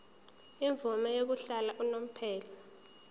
imvume yokuhlala unomphema